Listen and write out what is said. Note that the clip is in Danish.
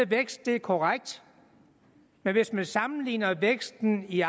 vækst det er korrekt men hvis man sammenligner væksten i